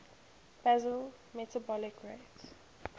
basal metabolic rate